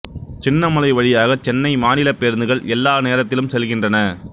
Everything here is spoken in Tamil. சின்னமலை வழியாக சென்னை மாநிலப் பேருந்துகள் எல்லா நேரத்திலும் செல்கின்றன